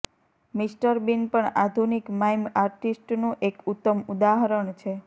mister Bean પણ આધુનિક mime artist નું એક ઉત્તમ ઉદાહરણ છે